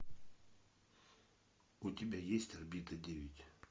у тебя есть орбита девять